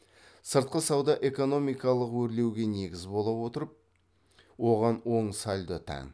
сыртқы сауда экономикалық өрлеуге негіз бола отырып оған оң сальдо тән